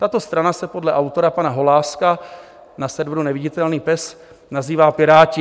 Tato strana se podle autora pana Holáska na serveru Neviditelný pes nazývá Piráti.